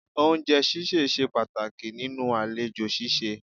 Oúnjẹ ṣíṣẹ̀ ṣe pàtàkì nínú àlejò ṣíṣe